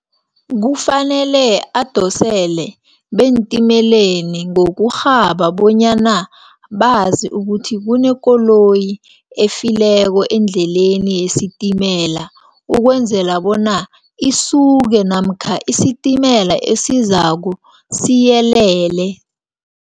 Kufanele adosele beentimeleni ngokurhaba bonyana bazi ukuthi, kunekoloyi efileko endleleni yesitimela, ukwenzela bona isuke, namkha isitimela esizako siyelele.